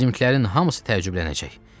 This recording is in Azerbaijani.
Bizimkilərin hamısı təəccüblənəcək.